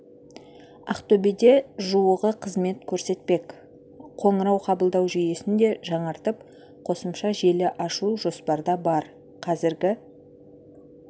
ақтөбеде жуығы қызмет көрсетпек қоңырау қабылдау жүйесін де жаңартып қосымша желі ашу жоспарда бар қазіргі